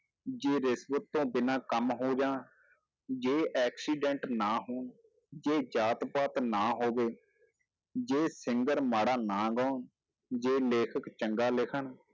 ਜੇ ਰਿਸ਼ਵਤ ਤੋਂ ਬਿਨਾਂ ਕੰਮ ਹੋ ਜਾਣ ਜੇ accident ਨਾ ਹੋਣ, ਜੇ ਜਾਤ ਪਾਤ ਨਾ ਹੋਵੇ, ਜੇ singer ਮਾੜਾ ਨਾ ਗਾਉਣ, ਜੇ ਲੇਖਕ ਚੰਗਾ ਲਿਖਣ,